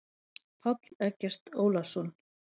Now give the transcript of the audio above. Páll Eggert Ólason.